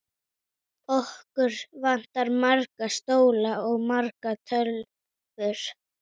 Okkur vantar marga stóla og margar tölvur.